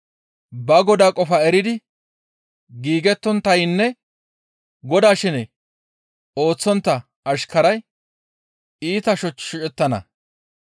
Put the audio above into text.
«Ba godaa qofaa eridi giigettonttaynne godaa shene ooththontta ashkaray iita shoch shocettana.